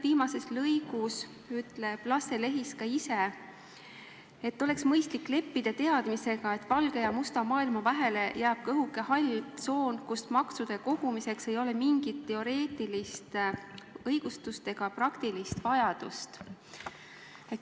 Viimases lõigus ütleb Lasse Lehis ka ise, et oleks mõistlik leppida teadmisega, et valge ja musta maailma vahele jääb õhuke hall tsoon, kust maksude kogumiseks ei ole mingit teoreetilist õigustust ega praktilist vajadust.